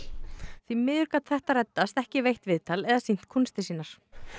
því miður gat þetta reddast ekki veitt viðtal eða sýnt kúnstir sínar